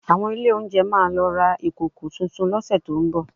Àwọn ilé oúnjẹ máa lọ ra ìkòkò tuntun lọ́sẹ̀ tó ń bọ̀